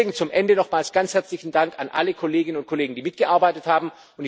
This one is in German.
Abschließend nochmals ganz herzlichen Dank an alle Kolleginnen und Kollegen, die mitgearbeitet haben.